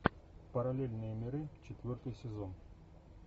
параллельные миры четвертый сезон